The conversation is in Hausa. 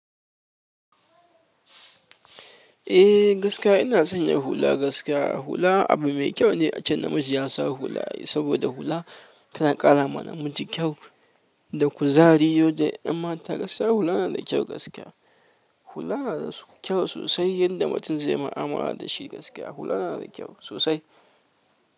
Eh gaskiya ina son yin hula gaskiya. Hula abu mai kyau ne ace namiji yasa hula saboda hula tana ƙarawa namiji kyau d kuzari zai je ƴan mata gaskiya hula na da kyau gaskiya. Hula na da so, kyau sosai yanda mutum zaiyi ma ama da shi gaskiya. Hula na da kyau sosai.